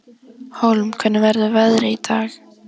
Hólm, hvernig er veðrið í dag?